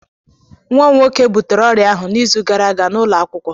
Nwa m nwoke butere orịa ahụ n'izu gara aga n'ụlọ akwụkwọ